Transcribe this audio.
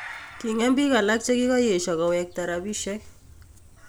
kiing�em biik alak chekiyeesyo koweekta rabisyek